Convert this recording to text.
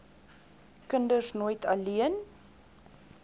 kinders nooit alleen